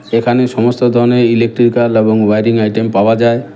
এখানে সমস্ত ধরনের ইলেকট্রিক্যাল এবং ওয়ারিং আইটেম পাওয়া যায়।